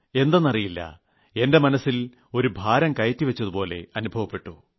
എന്തെന്ന് അറിയില്ല എന്റെ മനസ്സിൽ ഒരു ഭാരംകയറ്റിവച്ചതുപോലെ അനുഭവപ്പെട്ടു